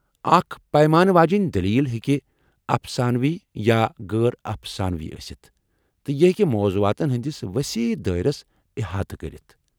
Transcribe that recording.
اکھ پیمانہٕ واجینۍ دٔلیٖل ہیٚکہ افسانوی یا غٲرافسانوی ٲسِتھ ، تہٕ یہ ہیٚکہ موضوعاتن ہنٛدِس وسیع دٲیرس احاطہٕ كرِتھ ۔